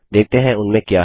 देखते हैं उनमें क्या है